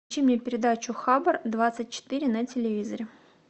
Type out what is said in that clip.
включи мне передачу хабр двадцать четыре на телевизоре